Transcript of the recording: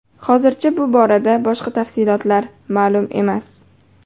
Hozircha bu borada boshqa tafsilotlar ma’lum emas.